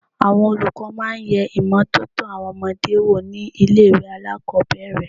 Àwọn olùkọ́ máa yẹ ìmọ́tótó àwọn ọmọdé wò ní ilé ìwẹ̀ alákòbẹ̀rẹ̀.